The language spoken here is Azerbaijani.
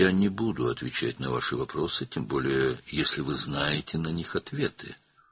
Sizin suallarınıza cavab verməyəcəyəm, xüsusən də cavabları özünüz bilirsinizsə.